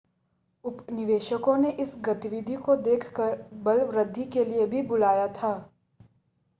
उपनिवेशिकों ने इस गतिविधि को देखकर बलवृद्धि के लिए भी बुलाया था